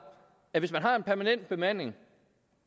at hvis man har en permanent bemanding